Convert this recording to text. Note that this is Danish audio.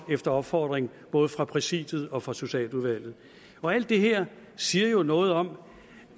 efter opfordring både fra præsidiet og fra socialudvalget alt det her siger jo noget om